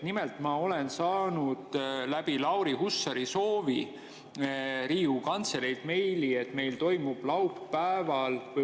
Nimelt, ma olen saanud läbi Lauri Hussari soovi Riigikogu Kantseleilt meili, et meil toimub laupäeval …